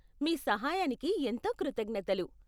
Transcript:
మీ సహాయానికి ఎంతో కృతజ్ఞతలు.